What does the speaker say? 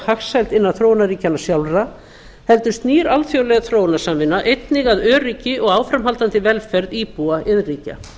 hagsæld innan þróunarríkjanna sjálfra heldur snýr alþjóðleg þróunarsamvinna einnig að öryggi og áframhaldandi velferð íbúa iðnríkja